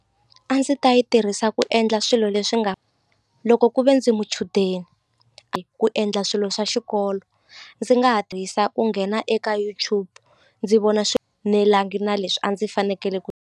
A ndzi ta yi tirhisa ku endla swilo leswi nga loko ku ve ndzi muchudeni ku endla swilo swa xikolo ndzi nga ha tirhisa ku nghena eka YouTube ndzi vona na leswi a ndzi fanekele ku.